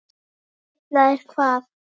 Ætlaðir hvað?